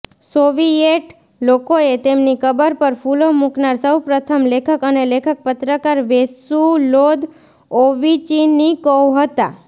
Soviet લોકોએ તેમની કબર પર ફૂલો મૂકનાર સૌપ્રથમ લેખક અને લેખક પત્રકાર વેસુલોદ ઓવિચિનિકોવ હતા